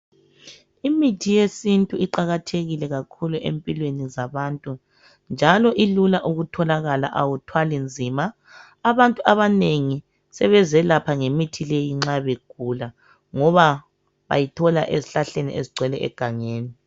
Imithi yesintu iqalathekile kakhulu empilwemi zabantu njalo ilula ukutholakala awuthwali nzima Abantu abanengi sebezelapha ngemithi leyi nxa begula ngoba bayithola ezihlahleni ezigcwele egangeni